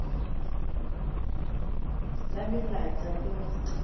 la melata le ho se